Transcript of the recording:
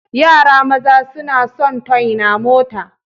Yara maza suna sun toy na mota.